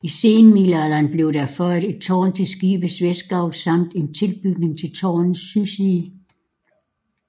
I senmiddelalderen blev der føjet et tårn til skibets vestgavl samt en tilbygning til tårnets sydside